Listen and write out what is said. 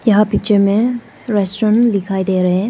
यहां पिक्चर में रेस्टोरेंट दिखाई दे रहे हैं।